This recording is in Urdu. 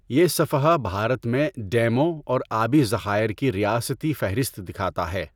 یہ صفحہ بھارت میں ڈیموں اور آبی ذخائر کی ریاستی فہرست دکھاتا ہے۔